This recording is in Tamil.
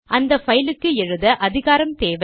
அந்த பைல் க்கு எழுத அதிகாரம் தேவை